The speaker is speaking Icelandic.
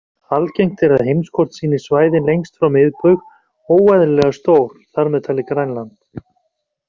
Algengt er að heimskort sýni svæðin lengst frá miðbaug óeðlilega stór, þar með talið Grænland.